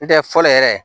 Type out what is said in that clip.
N tɛ fɔlɔ yɛrɛ